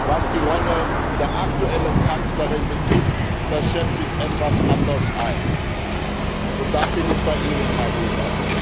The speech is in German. Was die Rolle der aktuellen Kanzlerin betrifft Das schätze ich etwas anders ein, und da bin ich bei Ihnen, Herr Weber.